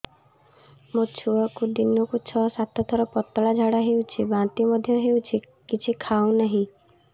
ମୋ ଛୁଆକୁ ଦିନକୁ ଛ ସାତ ଥର ପତଳା ଝାଡ଼ା ହେଉଛି ବାନ୍ତି ମଧ୍ୟ ହେଉଛି କିଛି ଖାଉ ନାହିଁ